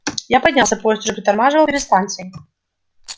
я поднялся поезд уже притормаживал перед станцией